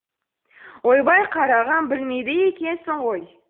ойбай қарағым білмейді екенсің ғой